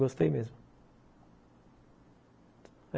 Gostei mesmo.